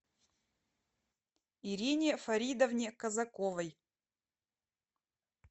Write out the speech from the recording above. ирине фаридовне казаковой